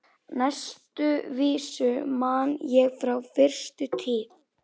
Næstu vísu man ég frá fyrstu tíð.